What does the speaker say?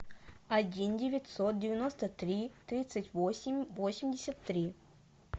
один девятьсот девяносто три тридцать восемь восемьдесят три